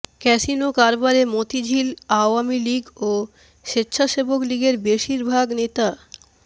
casino কারবারে Motijheel Awami League ও স্বেচ্ছাসেবক লীগের বেশির ভাগ নেতা